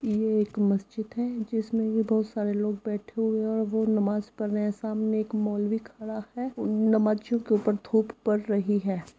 ये एक मज्जिद है जिसमें बहुत सारे लोग बैठे हुए हैं और वो नमाज़ पढ़ रहे हैं सामने एक मौल्वी खड़ा है और नमाज़ियों के ऊपर धूप पड रही है।